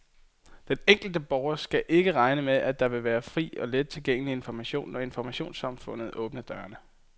Den enkelte borger skal stadig ikke regne med, at her vil være fri og let tilgængelig information, når informationssamfundet åbner dørene.